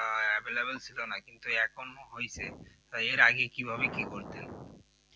হ্যাঁ available ছিল না অতটা কিন্তু এখন হইছে এর আগে কিভাবে কি করতেন